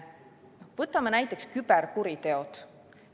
Võtame näiteks küberkuriteod.